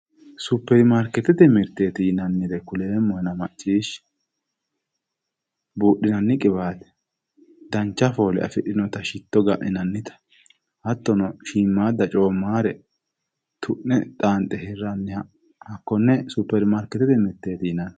Superimaarketete mirte yinnannire kuleemmohenna maccishshi budhinanni qiwate, dancha foole afidhinotta shitto lainannitta hattono shiimadare coomanore tu'ne xanxe hakkone superimaarketete mirteti yinnanni.